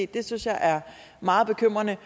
det synes jeg er meget bekymrende